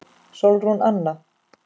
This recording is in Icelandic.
Sólrún Anna.